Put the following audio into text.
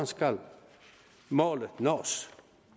skal nås